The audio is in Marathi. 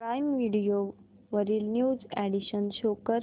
प्राईम व्हिडिओ वरील न्यू अॅडीशन्स शो कर